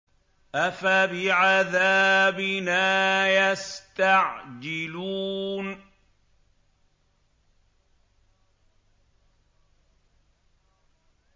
أَفَبِعَذَابِنَا يَسْتَعْجِلُونَ